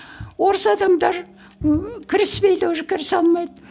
орыс адамдар ы кіріспейді уже кірісе алмайды